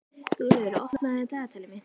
Guðlaugur, opnaðu dagatalið mitt.